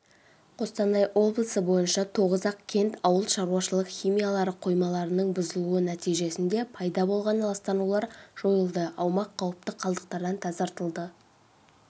қостанай облысы бойынша тоғызақ кент ауыл шаруашылық химиялары қоймаларының бұзылуы нәтижесінде пайда болған ластанулар жойылды аумақ қауіпті қалдықтардан тазартылды